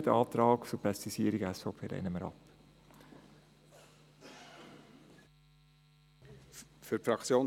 Den Antrag der SVP zur Präzisierung lehnen wir ab.